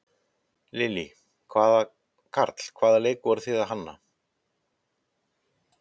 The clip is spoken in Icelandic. Lillý: Karl, hvaða leik voruð þið að hanna?